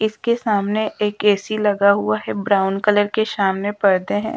इसके सामने एक ए_सी लगा हुआ है ब्राउन कलर के सामने पर्दे हैं।